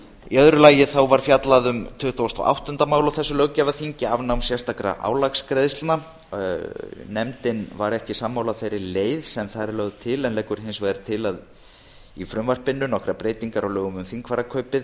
í öðru lagi var fjallað um tuttugasta og áttunda mál afnám sérstakra álagsgreiðslna á þessu löggjafarþingi nefndin var ekki sammála þeirri leið sem þar er lögð til en leggur hins vegar til í frumvarpinu nokkrar breytingar á lögum um þingfararkaupið